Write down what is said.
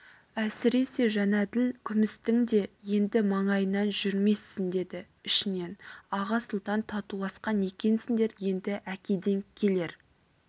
әсіресе жәнәділ күмістің де енді маңайынан жүрмессің деді ішінен аға сұлтан татуласқан екенсіңдер енді әкеден келер